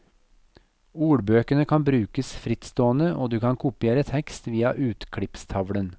Ordbøkene kan brukes frittstående, og du kan kopiere tekst via utklippstavlen.